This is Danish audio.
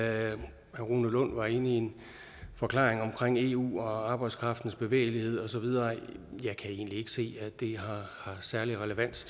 herre rune lund var inde i en forklaring om eu og arbejdskraftens bevægelighed og så videre jeg kan egentlig ikke se at det har særlig relevans